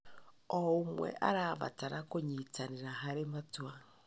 O ũmwe arabatara kũnyitanĩra harĩ matua.